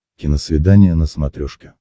киносвидание на смотрешке